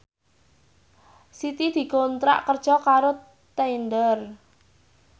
Siti dikontrak kerja karo Tinder